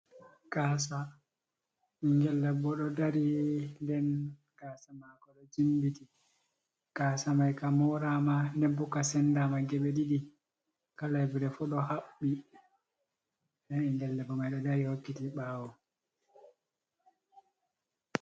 Gaasa, ɓinngel debbo ɗo dari, nden gaasa maako ɗo jimbiti, gaaasa may ka mooraama, nden bo ka sendaama geɓe ɗiɗ,i kala yebre fuu ɗo haɓɓi nɗen ɓinngel debbo may o ɗo dari hokkiti ɓaawo.